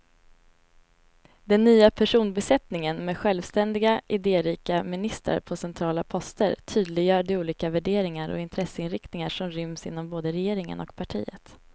Den nya personbesättningen med självständiga, idérika ministrar på centrala poster tydliggör de olika värderingar och intresseinriktningar som ryms inom både regeringen och partiet.